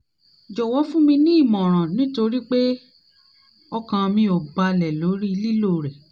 jọ̀wọ́ fún mi ní ìmọ̀ràn nítorí pé ọkàn mi ò balẹ̀ ò balẹ̀ lórí lílò rẹ̀